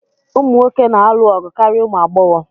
Ụmụ nwoke na-alụ ọgụ karịa ụmụ agbọghọ